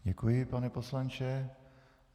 Děkuji, pane poslanče.